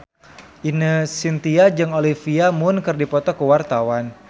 Ine Shintya jeung Olivia Munn keur dipoto ku wartawan